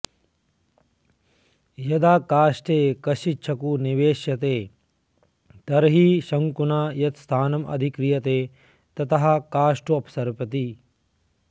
यदा काष्ठे कश्चिच्छ्कुः निवेस्यते तर्हि शङ्कुना यत्स्थानमधिक्रियते ततः काष्ठोऽपसरति